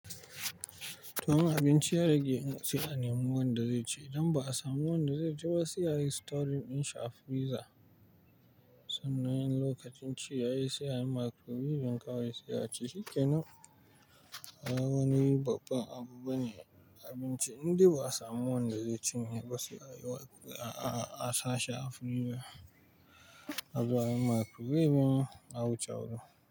Tuwon abinci ya rage in ka ci, ana neman wanda zai ci. Idan ba a samu wanda zai ci ba, sai a yi storing in sha freezer. Sanna in lokacin ci yayi, sai a yi microwave don kawai sai a ci, shi kenan. A wani babban abubu bane abinci, inda ba a samu wanda zai cinye ba sai a sha freezer. Abu a yi microwave kuma a wucewa.